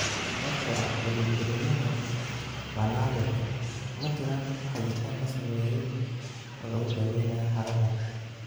Sababtoo ah polyembriyaha waa naadir, ma jiraan hagitaan la sameeyay oo lagu daweynayo xaaladdan.